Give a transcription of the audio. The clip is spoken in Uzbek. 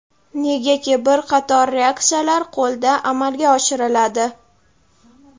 negaki bir qator reaksiyalar qo‘lda amalga oshiriladi.